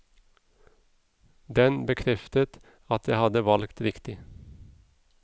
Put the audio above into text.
Den bekreftet at jeg hadde valgt riktig.